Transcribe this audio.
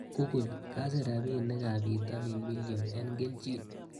Google, kasir rapinikab pitanin million eng kelchin.